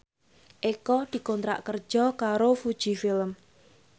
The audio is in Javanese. Eko dikontrak kerja karo Fuji Film